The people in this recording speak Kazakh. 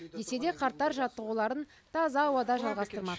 десе де қарттар жаттығуларын таза ауада жалғастырмақ